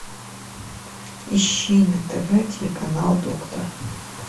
ищи на тв телеканал доктор